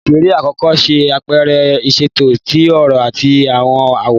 Oṣere akọkọ ṣe apẹrẹ iṣeto ti ọrọ ati awọn aworan.